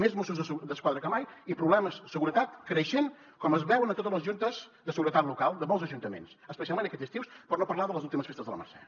més mossos d’esquadra que mai i problemes de seguretat creixent com es veu a totes les juntes de seguretat local de molts ajuntaments especialment aquest estiu per no parlar de les últimes festes de la mercè